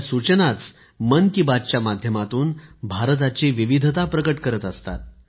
आपल्या सूचनाच मन की बात च्या माध्यमातून भारताची विविधता प्रकट करत असतात